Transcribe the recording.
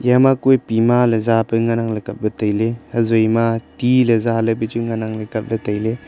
yama kue pema ley zape ngan angley kapley tailey hazoi ma tea ley zalei pechu ngan angley kapley tailey.